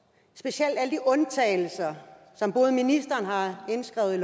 jeg undtagelser som ikke bare ministeren har indskrevet i